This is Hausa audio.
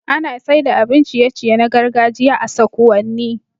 Ana saida abun ciye ciye na gargajiya a sakuwanni